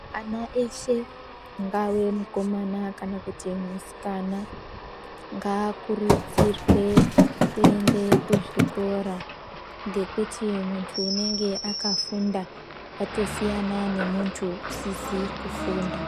Ana eshe ungave mukomana kana musikana ngaakurudzirwe kuti aende kuchikora ngekuti unenge akafunda watosiyana neusizi kufunda.